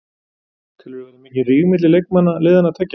Telurðu vera mikinn ríg milli leikmanna liðanna tveggja?